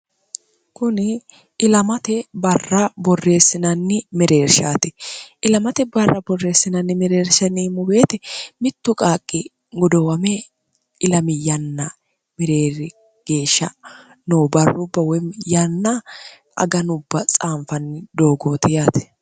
kuni ilamate barra borreessinanni mereershaati ilamate barra borreessinanni mereershanni muweete mittu qaaqqi godowame ilamiyanna mereeri geeshsha no barrubba woy yanna aganubba tsaanfanni doogoote yaati